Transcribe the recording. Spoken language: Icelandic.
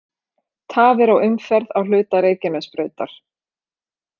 Tafir á umferð á hluta Reykjanesbrautar